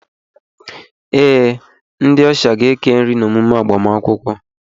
Ee, ndị ọsha ga-eke nri n'emume agbamakwụkwọ